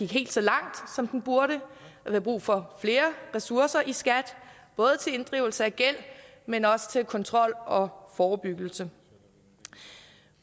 helt så langt som den burde der er brug for flere ressourcer i skat både til inddrivelse af gæld men også til kontrol og forebyggelse